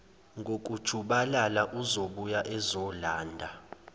ngokujubalala uzobuya ezolanda